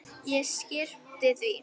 Ég skyrpti því.